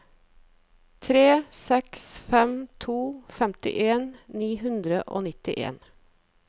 tre seks fem to femtifem ni hundre og nittien